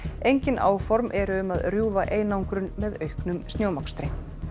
engin áform eru um að rjúfa einangrun með auknum snjómokstri